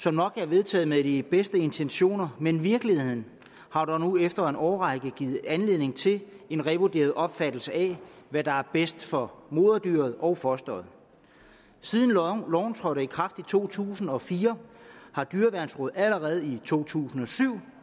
som nok er vedtaget med de bedste intentioner men virkeligheden har dog nu efter en årrække givet anledning til en revurderet opfattelse af hvad der er bedst for moderdyret og fosteret siden loven trådte i kraft i to tusind og fire har dyreværnsrådet allerede i to tusind og syv